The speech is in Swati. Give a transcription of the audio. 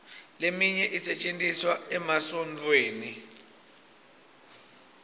leminye isetjentiswa emasontfweni